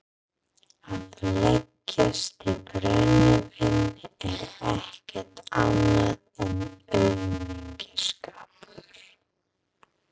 Að leggjast í brennivín er ekkert annað en aumingjaskapur.